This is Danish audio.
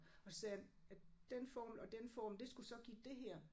Og så sagde han at den formel og den formel det skulle så give det her